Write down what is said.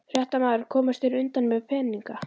Fréttamaður: Komust þeir undan með peninga?